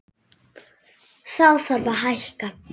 Þá þarf að hækka.